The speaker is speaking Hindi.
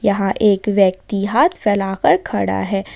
यहां एक व्यक्ति हाथ फैला कर खड़ा है।